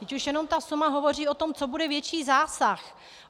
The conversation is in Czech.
Vždyť už jenom ta suma hovoří o tom, co bude větší zásah.